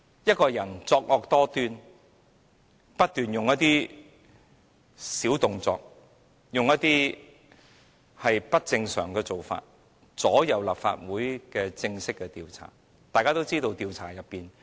一個人作惡多端，不斷搞小動作，又以不正常的做法左右立法會的正式調查。